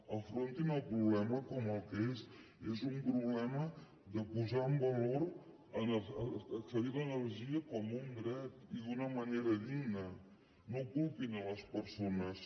afrontin el problema com el que és és un problema de posar en valor accedir a l’energia com un dret i una manera digna no culpin les persones